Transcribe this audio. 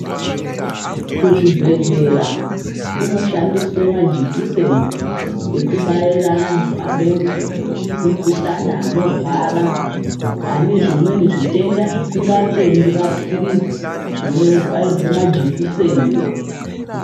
Kuzvibhedhlera kunoshandiswe majikiseni ekubaira antu ane mukuhlani anorwara ane zvimweni zvitenda zvisingatendi mapirizi zvinobairwe majikiseni.